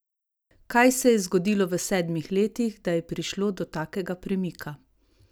Kaj se je zgodilo v sedmih letih, da je prišlo da takega premika?